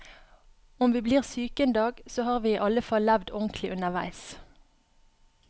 Om vi blir syke en dag, så har vi i alle fall levd ordentlig underveis.